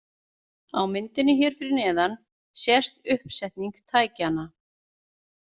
Á myndinni hér fyrir neðan sést uppsetning tækjanna.